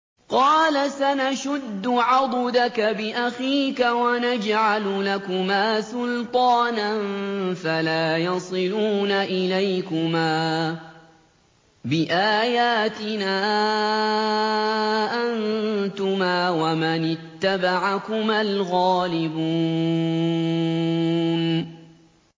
قَالَ سَنَشُدُّ عَضُدَكَ بِأَخِيكَ وَنَجْعَلُ لَكُمَا سُلْطَانًا فَلَا يَصِلُونَ إِلَيْكُمَا ۚ بِآيَاتِنَا أَنتُمَا وَمَنِ اتَّبَعَكُمَا الْغَالِبُونَ